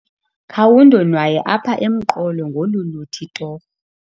Khawundonwaye apha emqolo ngolu luthi torho.